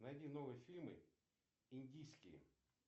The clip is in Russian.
найди новые фильмы индийские